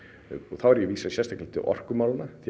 þá er ég að vísa sérstaklega í orkumálin því